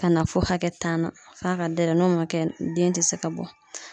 Ka na fɔ hakɛ tan na f'a ka dayɛlɛ n'o ma kɛ den ti se ka bɔ.